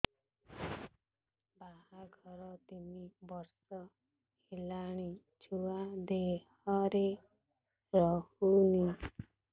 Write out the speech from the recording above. ବାହାଘର ତିନି ବର୍ଷ ହେଲାଣି ଛୁଆ ଦେହରେ ରହୁନି